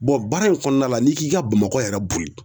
baara in kɔɔna la n'i k'i ka Bamakɔ yɛrɛ boli